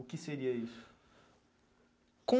O que seria isso? Com